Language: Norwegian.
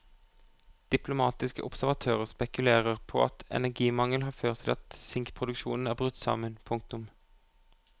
Diplomatiske observatører spekulerer på at energimangel har ført til at sinkproduksjonen er brutt sammen. punktum